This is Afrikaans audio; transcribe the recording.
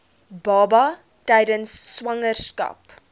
baba tydens swangerskap